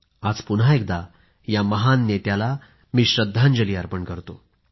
आज पुन्हा एकदा या महान नेत्याला मी श्रद्धांजली अर्पण करतो